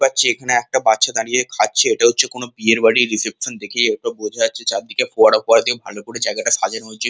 পাচ্ছি এখানে একটা বাচ্চা দাঁড়িয়ে খাচ্ছে ইটা হচ্ছে কোনো বিয়েরবাড়ির রিসেপশন দেখেই এটা বোঝা যাচ্ছে চারদিকে ফোয়ারা ফোয়ারা দিয়ে ভাল করে জায়গাটা সাজানো রয়েছে।